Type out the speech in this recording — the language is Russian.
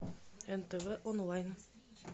нтв онлайн